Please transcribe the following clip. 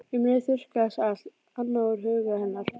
Um leið þurrkaðist allt annað úr huga hennar.